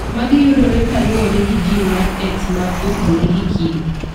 Magi iyudo ka kaluwore gi gin mar X ma otudore gi kido.